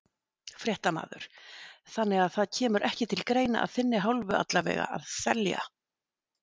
Fréttamaður: Þannig það kemur ekki til greina, að þinni hálfu allavega, að selja?